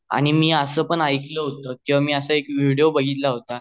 आणि मी अस पण एकल होता किव्हा मी असा विडियो बाघितला होता